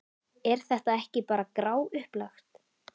Er þetta ekki bara gráupplagt?